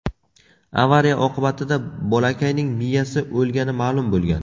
Avariya oqibatida bolakayning miyasi o‘lgani ma’lum bo‘lgan.